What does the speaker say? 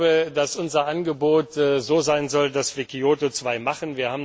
Ich glaube, dass unser Angebot so sein sollte, dass wir Kyoto II machen.